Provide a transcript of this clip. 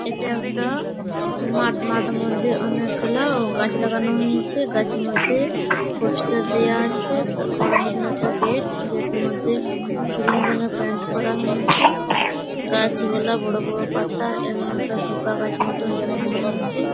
এটা একটা মাঠ মাঠ মধ্যে অনেকগুলা গাছ লাগানো হয়ছে গাছ এর মধ্যে পোস্টের দেওয়া আছে ছ বড় মতন একটা গেট গেট এর মধ্যে গ্রীন রঙের পেইন্ট করা হয়েছে গাছগুলা বড় বড় পাতা এবং একটা পিপা গাছ মতন দেখানো হয়েছে।